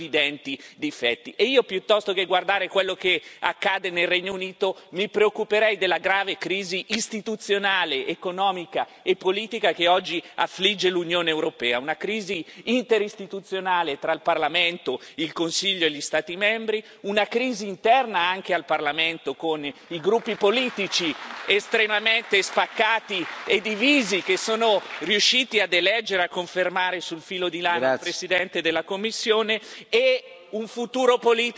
Piuttosto che guardare quello che accade nel Regno Unito, mi preoccuperei della grave crisi istituzionale, economica e politica che oggi affligge l'Unione europea, una crisi interistituzionale tra il Parlamento, il Consiglio e gli Stati membri, una crisi interna anche al Parlamento, con i gruppi politici estremamente spaccati e divisi che sono riusciti a eleggere e a confermare sul filo di lana il Presidente della Commissione e un futuro politico che ancora non si vede.